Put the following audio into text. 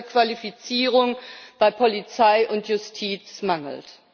Qualifizierung bei Polizei und Justiz mangelt.